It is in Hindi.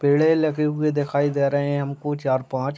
पेड़े लगे हुए देखाई रहे हैं हमको चार-पांच --